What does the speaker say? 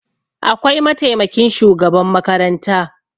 Akwai mataimakin shugaban makaranta